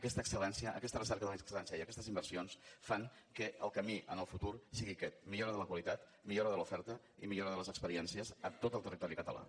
aquesta excel·lència aquesta recerca de l’excel·lència i aquestes inversions fan que el camí en el futur sigui aquest millora de la qualitat millora de l’oferta i millora de les experiències a tot el territori català